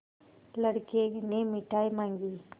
लड़के ने मिठाई मॉँगी